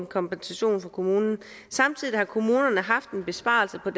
kompensation af kommunen samtidig har kommunerne haft en besparelse på